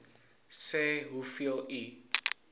sê hoeveel u